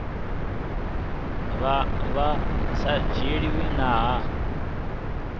vha vhu sa dzhielwi nha